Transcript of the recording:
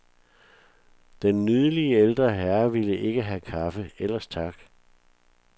Den nydelige, ældre herre ville ikke have kaffe, ellers tak.